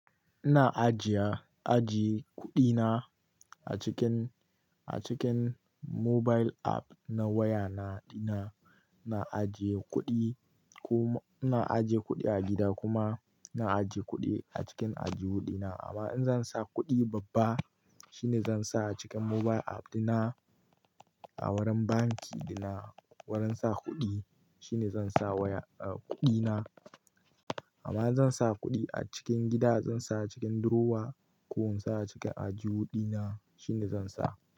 Ina ajiya, ajiye kuɗina a cikin, a cikin mobile app na waya na, dina. Na ajiye kuɗi kuma ina ajiye kuɗi a gida kuma na ajiye kuɗi a cikin aljihu dina. Amma in zan sa kuɗi babba shine zan sa a cikin mobile app dina a wurin banki dina. Wurin sa kuɗi shine zan sa waya, kuɗina. Amma in zan sa kuɗi a cikin gida zan sa a cikin durowa ko in sa a cikin ajiwu dina shine zan sa.